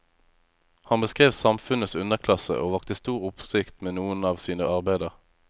Han beskrev samfunnets underklasse, og vakte stor oppsikt med noen av sine arbeider.